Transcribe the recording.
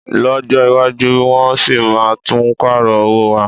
Lọ́jọ́ iwájú, wọ́n sì máa tún pààrọ̀ owó wa